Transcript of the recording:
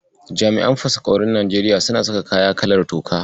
Jami'an fasaƙaurin Najeriya suna saka kaya kalar tuka.